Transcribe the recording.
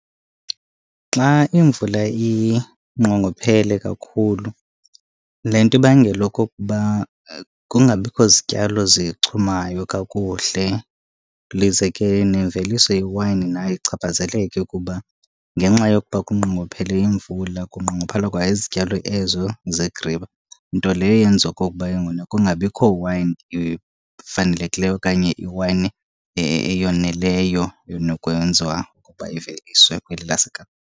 Xa imvula inqongophele kakhulu le nto ibangela okokuba kungabikho zityalo zichumayo kakuhle. Lize ke nemveliso yewayini nayo ichaphazeleke kuba ngenxa yokuba kunqongophele imvula kunqongophala kwa izityalo ezo zegriwa. Nto leyo yenza okokuba ke ngokuna kungabikho wayini efanelekileyo okanye iwayini eyoneleyo enokwenziwa ukuba iveliswe kweli laseKapa.